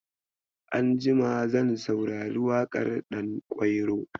Anjima zan saurari waƙar ɗankwairo.